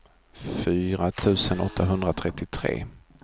fyra tusen åttahundratrettiotre